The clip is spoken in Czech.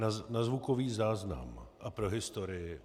Na zvukový záznam a pro historii.